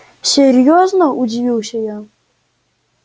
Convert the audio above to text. серьёзно удивился я